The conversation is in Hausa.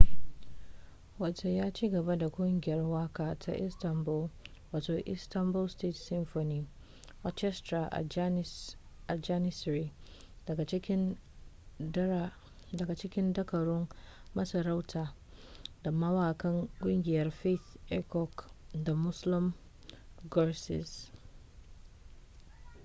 ya cigaba da kungiyar waka ta istanbul wato istanbul state symphony orchestra a janissary daga cikin dakarun masarauta da mawakan kungiyar fatih erkoç da müslüm gürses